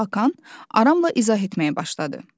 Hakan aramla izah etməyə başladı.